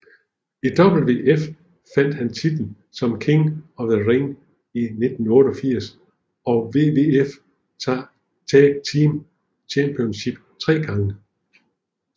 I WWF vandt han titlen som King of the Ring i 1988 og WWF Tag Team Championship tre gange